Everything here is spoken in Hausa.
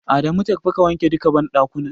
Adamu tafi ka wanke duka banɗakunan.